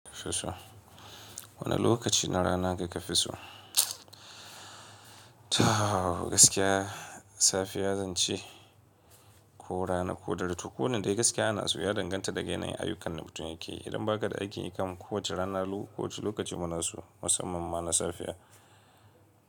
Fiso. Wane lokaci na rana kaka fi so? Ta gaskiya, safiya zan ce ko rana ko dare. To, ko wanne dai gaskiya ina so ya danganta da ga yanayin ayyukan da mutum yake. Idan ba ka da aiki kam, kowace rana ko wace lokaci mu na so, musamman ma na safiya.